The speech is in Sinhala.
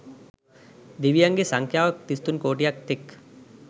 දෙවියන්ගේ සංඛ්‍යාව තිස්තුන් කෝටියක් තෙක්